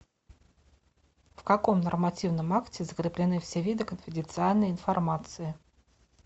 в каком нормативном акте закреплены все виды конфиденциальной информации